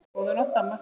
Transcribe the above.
Góðan nótt, amma.